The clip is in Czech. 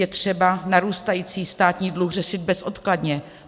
Je třeba narůstající státní dluh řešit bezodkladně.